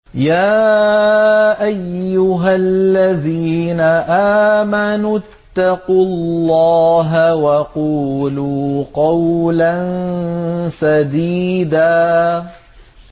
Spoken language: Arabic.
يَا أَيُّهَا الَّذِينَ آمَنُوا اتَّقُوا اللَّهَ وَقُولُوا قَوْلًا سَدِيدًا